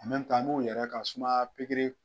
an b'u yɛrɛ ka sumaya pikiri.